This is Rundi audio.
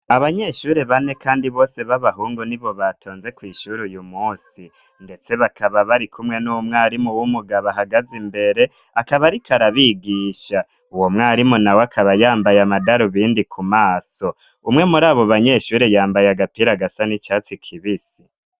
Abanyeshure bane kandi bose b'abahungu ni bo batonze kw' ishuri uyu munsi , ndetse bakaba bari kumwe n'umwarimu w'umugabo ahagaze imbere akaba ariko arabigisha. Uwo mwarimu na we akaba yambaye amadarubindi ku maso ,umwe muri abo banyeshure yambaye agapira gasa n'icatsi kibisi.